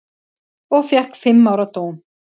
Og fékk fimm ára dóm.